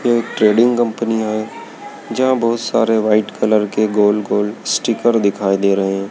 एक trading company है जहां बहोत सारे व्हाइट कलर के गोल गोल स्टिकर दिखाई दे रहे हैं।